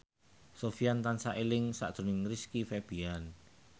Sofyan tansah eling sakjroning Rizky Febian